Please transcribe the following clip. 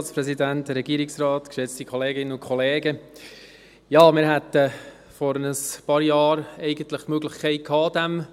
Ja, wir hätten vor ein paar Jahren die Möglichkeit gehabt, diesem